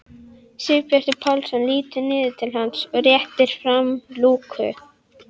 Sigurbjartur Pálsson lítur niður til hans og réttir fram lúku.